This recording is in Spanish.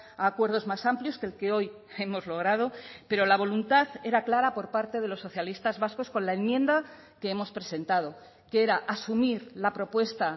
a acuerdos más amplios que el que hoy hemos logrado pero la voluntad era clara por parte de los socialistas vascos con la enmienda que hemos presentado que era asumir la propuesta